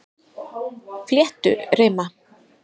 Flétturima